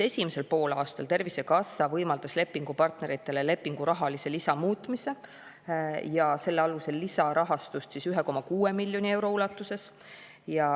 Esimesel poolaastal Tervisekassa võimaldas lepingupartneritele lepingu rahalise lisa muutmise ja selle alusel lisarahastust 1,6 miljoni euro ulatuses.